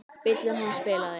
Bíllinn hans bilaði.